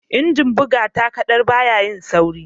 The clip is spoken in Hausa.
Injin buga takaddar baya yin sauri